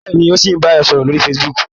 Bẹ́ẹ̀ni, ó ṣì ń bá ẹ sọ̀rọ̀ lórí facebook.